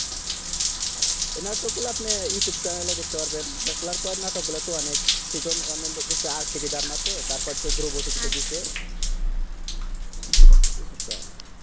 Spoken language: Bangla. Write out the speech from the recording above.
এই নাটক গুলা আপনি youtube channel এ দেখতে পারবেন bachelor point নাটক গুলা তো অনেক season অনেক বেশি RTV তার মাতে তারপর ধরো youtube channel এ